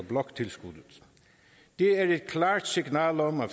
bloktilskuddet det er et klart signal om at